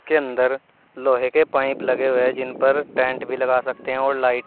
के अंदर लोहे के पाइप लगे हुए है जिनपर टेंट भी लगा सकते है और लाइट --